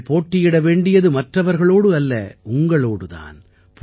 நீங்கள் போட்டியிட வேண்டியது மற்றவர்களோடு அல்ல உங்களோடு தான்